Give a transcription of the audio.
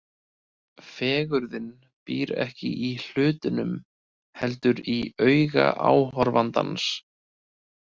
Fegurðin býr ekki í hlutunum, heldur í auga áhorfandans.